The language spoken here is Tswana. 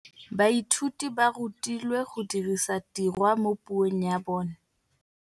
Baithuti ba rutilwe go dirisa tirwa mo puong ya bone.